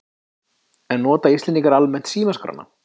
En nota Íslendingar almennt símaskrána?